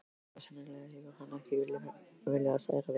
Já, sennilega hefur hann ekki viljað særa þig.